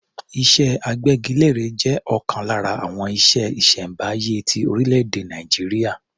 Iṣẹ́ agbẹ́gilére jẹ́ ọ̀kan lára àwọn iṣẹ́ ìṣẹ̀m̀báyé ti orílẹ̀-èdè Nàìjíríà.